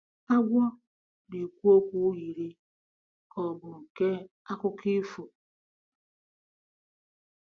Agwọ na-ekwu okwu yiri ka ọ bụ nke akụkọ ifo.